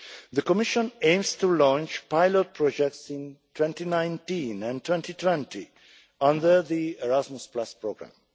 The Commission aims to launch pilot projects in 2019 and 2020 under the Erasmus programme.